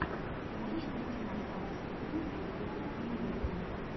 можешь найти нам запись игры эвертон и ливерпуль